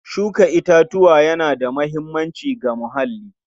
Shuka itatuwa yana da muhimmanci ga muhalli.